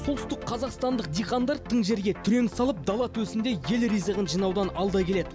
солтүстік қазақстандық диқандар тың жерге түрен салып дала төсінде ел ризығын жинаудан алда келеді